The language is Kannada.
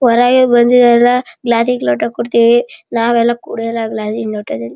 ಹೊರಗೆ ಬಂದಿರಲ್ಲ ಲಾರಿಗೆ ಲೋಟ ಕೊಡ್ತಿವಿ ನಾವೆಲ್ಲ ಕುಡಿಯಲ್ಲ ಈಗಾಜಿನ ಲೋಟ ದಗೆ--